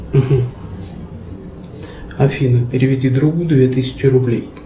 афина переведи другу две тысячи рублей